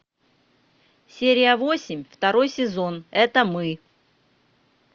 серия восемь второй сезон это мы